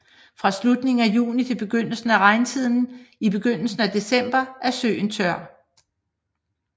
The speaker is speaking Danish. Fra slutningen af juni til begyndelsen af regntiden i begyndelsen af december er søen tør